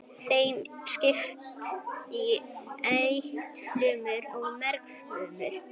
Þeim er skipt í eitilfrumur og mergfrumur.